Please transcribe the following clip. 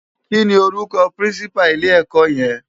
Ki ni órúkò pirinsipá ilè èkò yen?